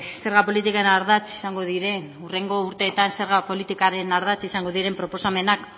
zerga politiken ardatz izango diren hurrengo urteetan zerga politikaren ardatz izango diren proposamenak